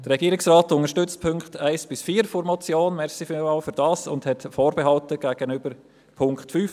Der Regierungsrat unterstützt die Punkte 1 bis 4 der Motion – vielen Dank dafür – und hat Vorbehalte gegen den Punkt 5.